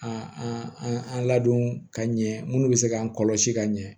A an an ladon ka ɲɛ minnu bɛ se k'an kɔlɔsi ka ɲɛ